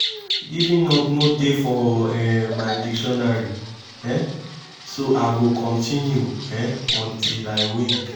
giving up no dey for um my dictionary um so i go continue um till i win